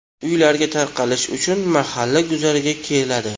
Uylariga tarqalish uchun mahalla guzariga keladi.